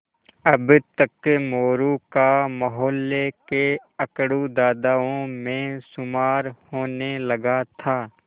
अब तक मोरू का मौहल्ले के अकड़ू दादाओं में शुमार होने लगा था